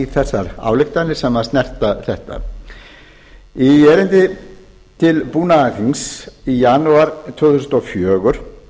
þessar ályktanir sem snerta þetta í erindi til búnaðarþings í janúar tvö þúsund og fjögur